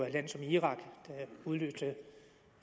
et land som irak der udløste